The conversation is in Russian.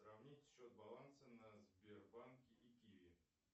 сравнить счет баланса на сбербанке и киви